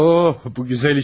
Oh, bu gözəl işte.